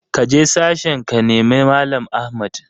Kaje sashen ka nemi mallam Ahmad!